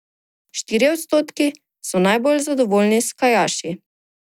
Štirje odstotki so najbolj zadovoljni s kajakaši.